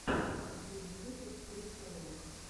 последний выпуск крипто лорк